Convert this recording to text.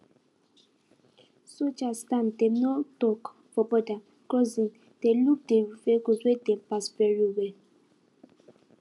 soldiers stand dem no tok for border crossing dey look de vehicles wey dey pass very well